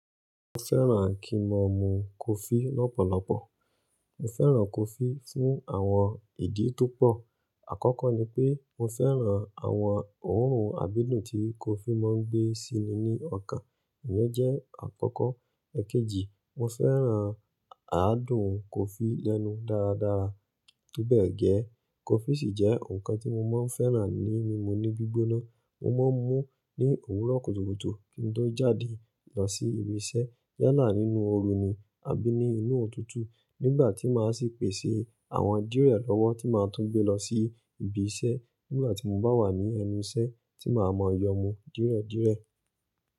Mo fẹ́ràn kí mo mu coffe lọ́pọ̀lọpọ̀. Mo fẹ́ràn coffee fún àwọn ìdí tó pọ̀. Àkọ́kọ́ ni pé mo fẹ́ràn àwọn òórùn àgbedun tí coffee máa ń gbé sí mi ní ọ̀kan. Èyen jẹ́ àkọ́kọ́. Ẹ̀kéjì, mo fẹ́ràn àádùn cofi lẹ́nu dára dára. To bẹ́ẹ̀ gẹ́, cofí sì jẹ́ nǹkan tí mo máa ń fẹ́ràn ní mímu ní gbígbóná. Mo máa ń mú ní òwúrọ̀ kùtùkùtù kí n tó jáde lọ sí ibi iṣẹ́ yálà nínú ooru ní àbí ní inú òtútù nígbà tí màá sì pèsè àwọn de lọ́wọ́ tí màá tún gbé lọ sí ibi iṣẹ́ nígbà tí mo bá wà ní ẹnu iṣẹ́ tí màá mọ yọ mú dere dere.